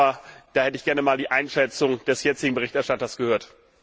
Aber da hätte ich gerne mal die Einschätzung des jetzigen Berichterstatters gehört.